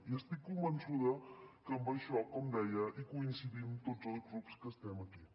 i estic convençuda que en això com deia hi coincidim tots els grups que estem aquí